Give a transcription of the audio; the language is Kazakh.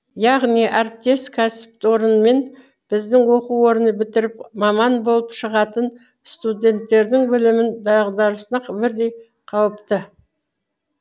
яғни әріптес кәсіпорынмен біздің оқу орны бітіріп маман болып шығатын студенттердің білімін дағдасына бірдей жауапты